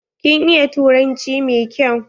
Kin iya turanci mai kyau?